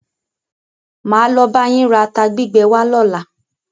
Máa lo bá yín ra ata gbígbẹ wá lọ́la.